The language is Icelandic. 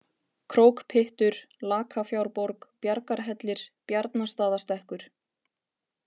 Krókpyttur, Lakafjárborg, Bjargarhellir, Bjarnastaðastekkur